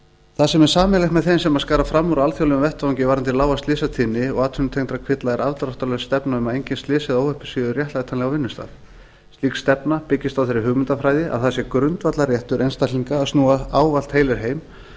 það sem er sameiginlegt með þeim sem skara fram úr á alþjóðlegum vettvangi varðandi lága slysatíðni og atvinnutengda kvilla er afdráttarlaus stefna um að engin slys eða óhöpp séu réttlætanleg á vinnustað slík stefna byggist á þeirri hugmyndafræði að það sé grundvallarréttur einstaklinga að snúa ávallt heilir heim